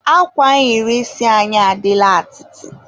akwa nhiri isi anyị adịla atịtị.